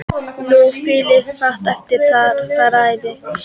Nú lifir fátt eitt eftir að þeirri frægð.